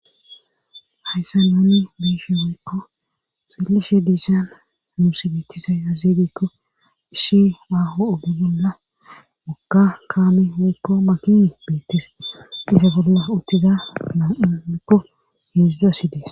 hayssa nuuni miishe woykko xillishe diishan nuus beetisa azeeydekko ishi aho oge gola moka kaame woykko makini beettise iza bolla uttiza naaamekko heeszduasidees